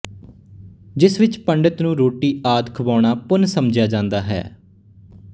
ਜਿਸ ਵਿਚ ਪੰਡਤ ਨੂੰ ਰੋਟੀ ਆਦਿ ਖਵਾਉਣਾ ਪੁੰਨ ਸਮਝਿਆ ਜਾਂਦਾ ਹੈ